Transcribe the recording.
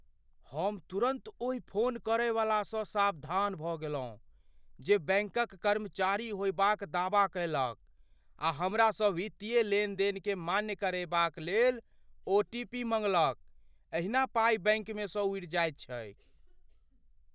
हम तुरन्त ओहि फोन करयवलासँ सावधान भऽ गेलहुँ जे बैंकक कर्मचारी होयबाक दावा कयलक आ हमरासँ वित्तीय लेनदेनकेँ मान्य करेबाक लेल ओ. टी. पी. मँगलक। एहिना पाइ बैंकमे सँ उड़ि जायत छैक ।